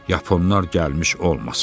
Yaponlar gəlmiş olmasa.